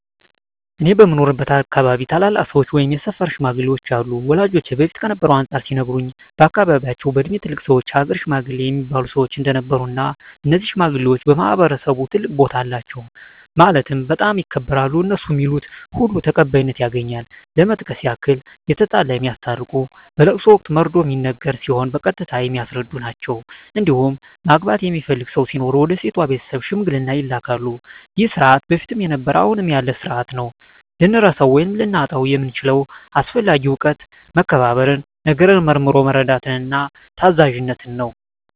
እኔ በምኖርበት አካባቢ ታላላቅ ሰዎች ወይም የሰፈር ሽማግሌዎች አሉ ወላጆቼ በፊት ከነበረው አንፃር ሲነግሩኝ በአካባቢያቸው በእድሜ ትላልቅ ሰዎች የሀገር ሽማግሌ እሚባሉ ሰዎች እንደነበሩ እና እነዚህ ሽማግሌዎች በማህበረሰቡ ትልቅ ቦታ አላቸው ማለትም በጣም ይከበራሉ እነሡ ሚሉት ሁሉ ተቀባይነት ያገኛል ለመጥቀስ ያክል የተጣላ የሚያስታርቁ በለቅሶ ወቅት መርዶ ሚነገር ሲሆን በቀስታ የሚያስረዱ ናቸዉ እንዲሁም ማግባት የሚፈልግ ሰው ሲኖር ወደ ሴቷ ቤተሰብ ሽምግልና ይላካሉ ይህ ስርዓት በፊትም ነበረ አሁንም ያለ ስርአት ነው። ልንረሳው ወይም ልናጣው የምንችለው አስፈላጊ እውቀት መከባበርን፣ ነገርን መርምሮ መረዳትን፣ ታዛዝነትን ነው።